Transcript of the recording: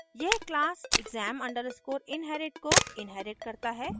यह class exam _ inherit को inherits करता है